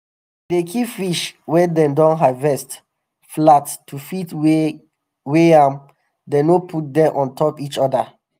dem dey keep fish wey dem don harvest flat to fit weigh am dem no put dem on top each oda.